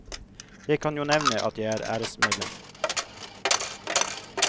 Jeg kan jo nevne at jeg er æresmedlem.